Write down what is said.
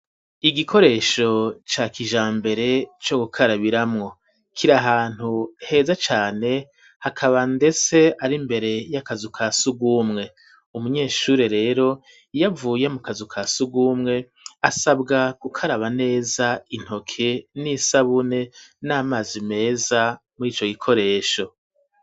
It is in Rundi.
Igikoresho ca kijambere co gukarabiramwo kiri ahantu heza cane hakaba ndese ari mbere y'akazu ka sugumwe umunyeshuri rero iyavuye mu kazu ka sugumwe asabwa gukaraba neza intoke n'isabune n'amazi meza muri ico gikoresho.